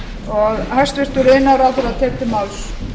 hæstvirtur forseti ég mæli fyrir frumvarpi til laga